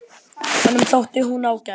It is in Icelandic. Honum þótti hún ágæt.